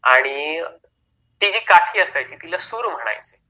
आणि ती जी काठी असायची तिला सूर म्हणायचे